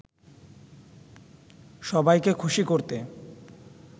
সবাইকে খুশি করতে